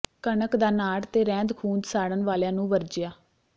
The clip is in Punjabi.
ਕਣਕ ਦਾ ਨਾੜ ਤੇ ਰਹਿੰਦ ਖੁੰਹਦ ਸਾੜਨ ਵਾਲਿਆਂ ਨੂੰ ਵਰਜਿਆ